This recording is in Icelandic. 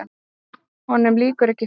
Honum lýkur ekki fyrr.